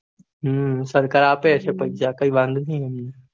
હમ સરકાર અપડે એટલે કઈ વાંધો ની